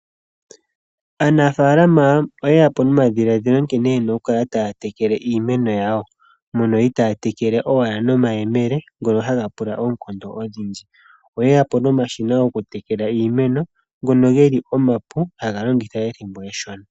Aanafalama oyeyapo nomadhiladhilo nkene yena okukala taya tekele iimeno yawo, mono itaaya tekele owala nomayemele, ngono haga pula oonkondo odhindji. Oyeyapo nomashina gokutekela iimeno, ngono geli omapu, haga longitha ethimbo eshona.